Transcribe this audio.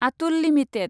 Atul limited